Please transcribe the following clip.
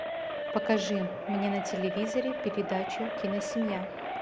покажи мне на телевизоре передачу киносемья